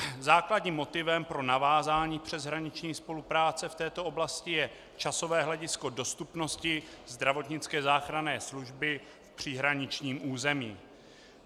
Základním motivem pro navázání přeshraniční spolupráce v této oblasti je časové hledisko dostupnosti zdravotnické záchranné služby v příhraničním území.